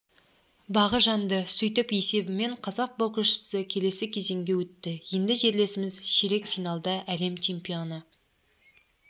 бағы жанды сөйтіп есебімен қазақ боксшысы келесі кезеңге өтті енді жерлесіміз ширек финалда әлем чемпионы